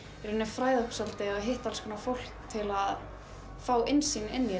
fræðast og hitta fólk til að fá innsýn í